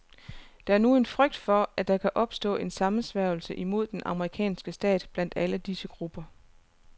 Der er nu en frygt for, at der kan opstå en sammensværgelse imod den amerikanske stat blandt alle disse gruppe.